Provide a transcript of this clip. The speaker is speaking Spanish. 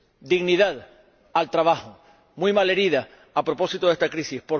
dignidad al trabajo, muy malherida a propósito de esta crisis.